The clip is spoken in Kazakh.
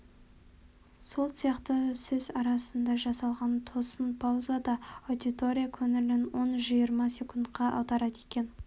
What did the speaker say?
сол сияқты сөз арасында жасалған тосын пауза да аудитория көңілін он-жиырма секундқа аударады екен